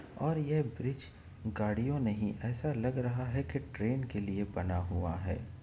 और यह ब्रिज गाड़ियों नहीं ऐसा लग रहा है की ट्रेन के लिए बना हुआ है।